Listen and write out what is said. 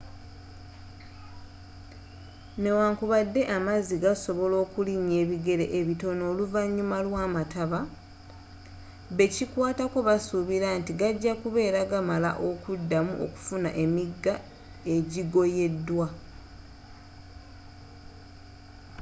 newankubadde amazzi gasobola okulinnya ebigere bitono oluvnyuma lwamataba bekikwatako basuubira nti gajja kubeera gamala okuddamu okufuna emigga egigoyedwa